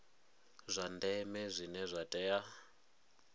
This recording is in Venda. zwa ndeme zwine zwa tea